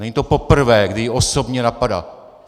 Není to poprvé, kdy ji osobně napadá.